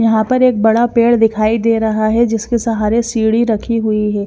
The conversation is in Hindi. यहां पर एक बड़ा पेड़ दिखाई दे रहा है जिसके सहारे सीडी रखी हुई है।